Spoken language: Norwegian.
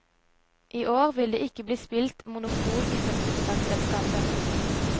I år vil det ikke bli spilt monopol i fødselsdagsselskapet.